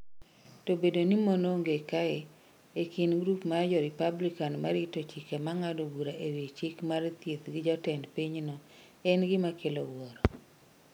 To bedo ni mon onge kae, e kind grup mar jo Republican ma rito chike ma ng’ado bura e wi chik mar thieth gi jatend pinyno, en gima kelo wuoro.